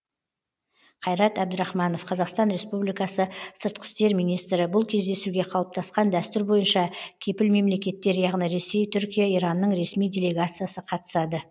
қайрат әбдірахманов қазақстан республикасы сыртқы істер министрі бұл кездесуге қалыптасқан дәстүр бойынша кепіл мемлекеттер яғни ресей түркия иранның ресми делегациясы қатысады